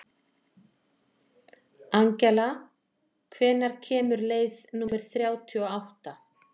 Angela, hvenær kemur leið númer þrjátíu og átta?